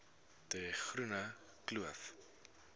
de groene kloof